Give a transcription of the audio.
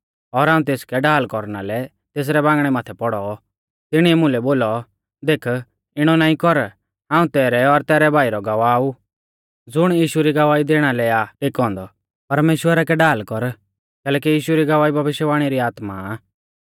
और हाऊं तेसकै ढाल कौरना लै तेसरै बांगणै माथै पौड़ौ तिणीऐ मुलै बोलौ देख इणौ नाईं कर हाऊं तैरै और तैरै भाई रौ गवाह ऊ ज़ुण यीशु री गवाही दैणा लै आ टेकौ औन्दौ परमेश्‍वरा कै ढाल कर कैलैकि यीशु री गवाही भविष्यवाणी री आत्मा आ